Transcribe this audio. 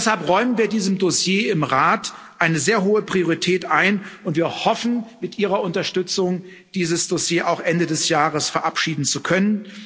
Deshalb räumen wir diesem Dossier im Rat eine sehr hohe Priorität ein, und wir hoffen, mit Ihrer Unterstützung dieses Dossier auch Ende des Jahres verabschieden zu können.